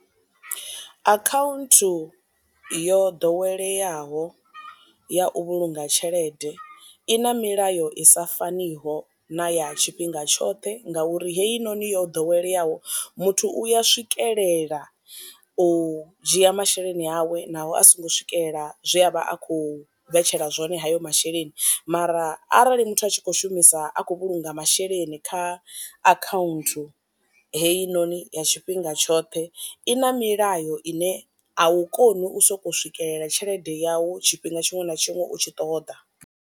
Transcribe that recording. Akhaunthu yo ḓoweleaho ya u vhulunga tshelede i na milayo i sa faniho na ya tshifhinga tshoṱhe nga uri heyi noni yo ḓoweleyaho muthu uya swikelela u dzhia masheleni awe naho a songo swikelela zwe a vha a kho vhetshelwa zwone hayo masheleni, mara arali muthu a tshi kho shumisa a khou vhulunga masheleni kha akhaunthu hei noni ya tshifhinga tshoṱhe i na milayo ine a u koni u soko swikelela tshelede yawu tshifhinga tshiṅwe na tshiṅwe u tshi ṱoḓa.